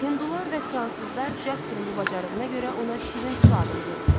Hindular və fransızlar Jasperin bu bacarığına görə ona şirin su adını veriblər.